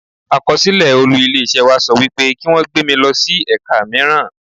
Àkọsílẹ̀ olú ilé iṣẹ́ wa sọ wípé kí wón gbé mi lọ sí ẹ̀ka míràn.